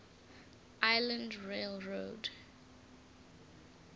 island rail road